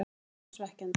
Þetta var svekkjandi,